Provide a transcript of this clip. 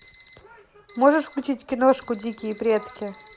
можешь включить киношку дикие предки